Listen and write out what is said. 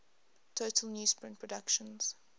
total newsprint production